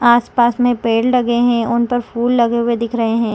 आस-पास में पेड़ लगे है उनपर फूल लगे हुए दिख रहे है।